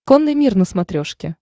конный мир на смотрешке